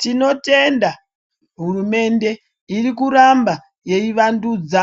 Tinotenda hurumende irikuramba yeivandudza